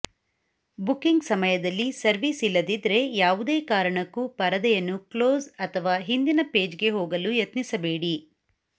booking ಸಮಯದಲ್ಲಿ service ಇಲ್ಲದಿದ್ರೆ ಯಾವುದೇ ಕಾರಣಕ್ಕೂ ಪರದೆಯನ್ನು ಕ್ಲೋಸ್ ಅಥವಾ ಹಿಂದಿನ ಪೇಜ್ಗೆ ಹೋಗಲು ಯತ್ನಿಸಬೇಡಿ